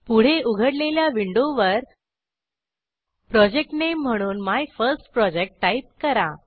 पुढे उघडलेल्या विंडोवर प्रोजेक्ट नामे म्हणूनMyFirstProject टाईप करा